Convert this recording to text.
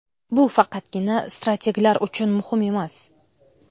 Bu faqatgina strateglar uchun muhim emas.